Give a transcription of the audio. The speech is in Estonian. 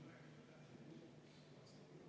Tegelikult me ei tea seda.